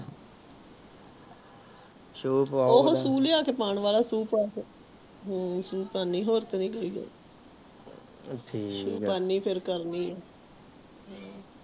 ਸ਼ੁ ਪਾਵਾਲਿਯੋ ਹਮ ਸ਼ੁ ਲਿਆ ਕ ਪਾਨੀ ਆਂ ਵਾਲਾ ਹੋਰ ਤੇ ਬਾਕੀ ਠੀਕ ਆ ਹਮ ਠੀਕ ਆ ਸ਼ੁ ਪਾਨੀ ਫਰ ਕਰਨੀ ਆ